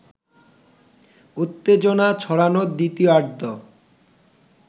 উত্তেজনা ছড়ানো দ্বিতীয়ার্ধ